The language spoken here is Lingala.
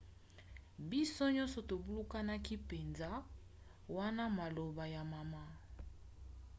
biso nyonso tobulunganaki mpenza wana maloba ya mama